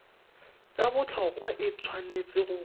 tsa botlhokwa e tshwanetse go